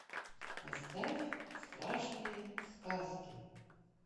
поставь страшные сказки